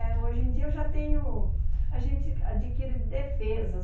É, hoje em dia eu já tenho, a gente adquire defesas.